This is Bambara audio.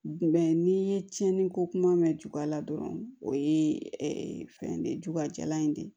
n'i ye tiɲɛni ko kuma mɛn jula dɔrɔn o ye fɛn de jula jalan in de